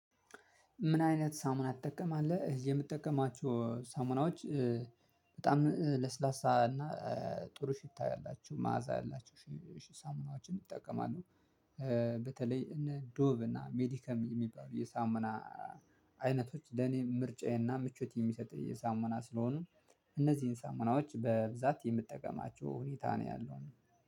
ምን አይነት ሳሙና ትጠቀማለህ? የምጠቀማቸው ሳሙናዎች በጣም ለስላሳ እና ጥሩ ሽታ ያላችሁ መዓዛ ያላችሁ ሳሙናዎችን እጠቀማለሁ። በተለይ እነ ዶብ እና ሜዲከም የሚባሉ የሳምና አይነቶች ለኔ ምርጫዬና ምቾት የሚሰጠኝ የሳሙና ስለሆኑ እነዚህን ሳምናዎች በብዛት የምትጠቀማቸው ሁኔታ ነው ያለው።